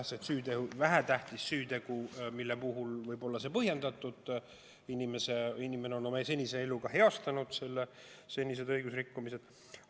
No kindlasti on mingeid vähetähtsaid süütegusid, mille puhul võib kaalumine olla põhjendatud, näiteks inimene on hilisema elu jooksul senised õigusrikkumised heastanud.